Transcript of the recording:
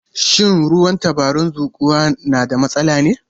Shin ruwan tabaran zuƙowa na da matsala ne?